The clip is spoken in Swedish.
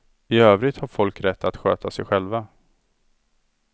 I övrigt har folk rätt att sköta sig själva.